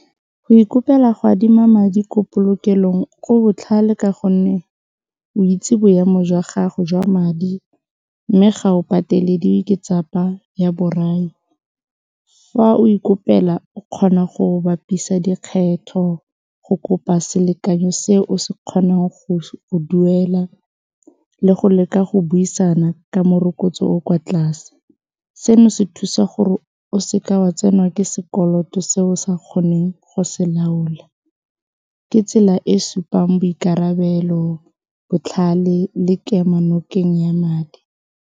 Go ikopela go adima madi ko polokelong go botlhale ka gonne o itse boemo jwa gago jwa madi mme ga o patelediwe ke ya borai fa o ikopela o kgona go bapisa dikgetho go kopa selekanyo se o se kgonang go duela le go leka go buisana ka morokotso o o kwa tlase, seno se thusa gore o seka wa tsenwa ke sekoloto se o sa kgoneng go se laola ke tsela e supang boikarabelo, botlhale le kemonokeng ya madi.